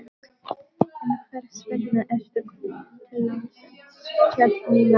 En hvers vegna ertu kominn til landsins? hélt Nína áfram.